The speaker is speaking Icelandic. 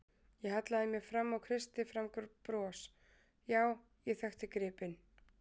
Ég hallaði mér fram og kreisti fram bros, já, ég þekkti gripinn.